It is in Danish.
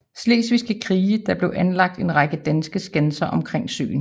Slesvigske krig blev der anlagt en række danske skanser omkring søen